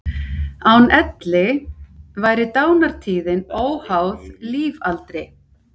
Án elli væri dánartíðnin óháð lífaldri.